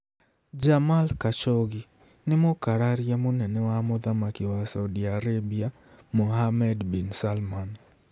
Jamal Khashoggi nĩ mũkararia mũnene wa Mũthamaki wa Saudi Arabia Mohammed bin Salman.